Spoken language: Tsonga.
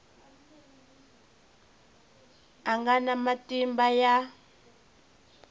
a nga na matimba ya